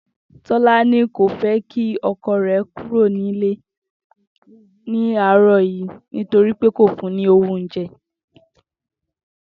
Tó̩lání kò jé̩ kí o̩ko̩ rè̩ kúrò nílé ní àárò̩ yìí nítorí pé kò fun ni owó oúnje̩